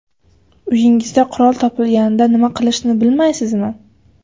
Uyingizda qurol topilganida nima qilishni bilmaysizmi?